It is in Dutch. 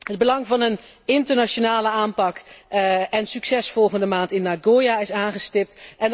Het belang van een internationale aanpak en succes volgende maand in Nagoya is aangestipt.